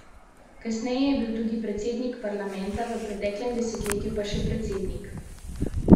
Kasneje je bil tudi predsednik parlamenta, v preteklem desetletju pa še predsednik države.